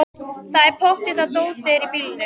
Það er pottþétt að dótið er í bílnum!